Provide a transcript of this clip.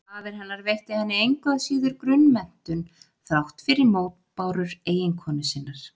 Faðir hennar veitti henni engu að síður grunnmenntun þrátt fyrir mótbárur eiginkonu sinnar.